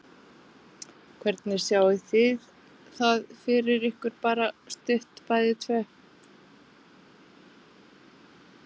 Hvernig sjáið þið það fyrir ykkur bara stutt bæði tvö?